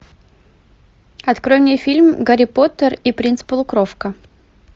открой мне фильм гарри поттер и принц полукровка